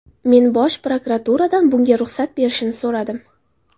Men bosh prokuraturadan bunga ruxsat berishni so‘radim.